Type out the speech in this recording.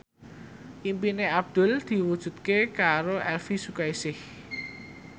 impine Abdul diwujudke karo Elvy Sukaesih